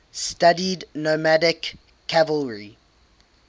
studied nomadic cavalry